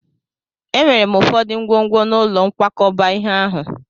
Enwere m ụfọdụ ngwongwo n'ụlọ nkwakọba ihe ahụ.